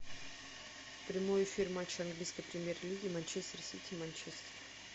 прямой эфир матча английской премьер лиги манчестер сити манчестер